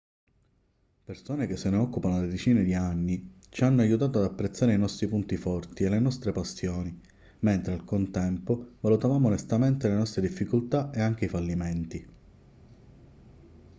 persone che se ne occupano da decine di anni ci hanno aiutato ad apprezzare i nostri punti forti e le nostre passioni mentre al contempo valutavamo onestamente le nostre difficoltà e anche i fallimenti